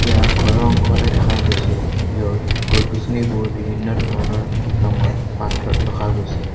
ইয়াত ঘৰৰ অংশ এটা দেখা গৈছে য'ত গছ গছনিবোৰ বিভিন্ন ধৰণৰ ৰঙৰ পাত্ৰত ৰখা গৈছে।